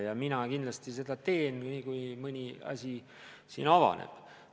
Ja mina kindlasti seda teen, nii kui mõni asi siin avaneb.